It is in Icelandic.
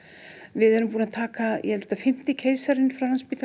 við erum búin að taka ég held að fimmti keisarinn